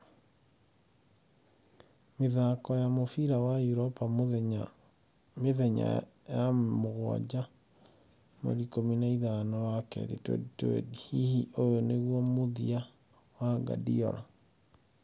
(90min) Mĩthako ya mũbira wa Eropa Mĩthenya ya Mũgwanja 15.02.2020 Hihi ũyũ nĩguo mũthia wa Guardiola?